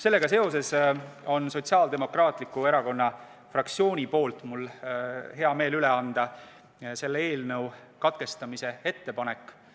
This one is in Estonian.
Sellega seoses on mul hea meel anda Sotsiaaldemokraatliku Erakonna fraktsiooni poolt üle selle eelnõu katkestamise ettepanek.